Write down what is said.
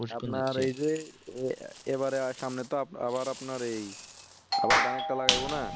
আপনার এই যে এবারে সামনে তো এবার আপনার আবার ধানের তা লাগে ব না